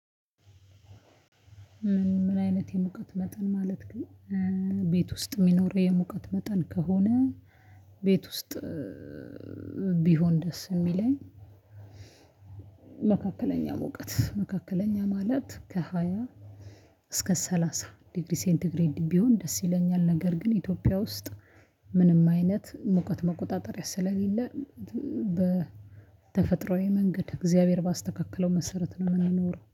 ምን አይነት የሙቀት መጠን ማለት ነው? ቤት ውስጥ የሚኖረው የሙቀት መጠን ከሆነ ቤት ውስጥ ቢሆን ደስ የሚለኝ። እውቀት መካከለኛ ማለት ከሃያ እስከ ሰላሳ ዲግሪ ሴንተግሬድ ቢሆን ደስ ይለኛል። ነገር ግን ኢትዮጵያ ውስጥ ምንም አይነት ሙቀት መቆጣጠር ስለሌለ። በተፈጥሮአዊ መንገድ እግዚአብሔር ባስተካክለው መሰረት ነው የምንኖረው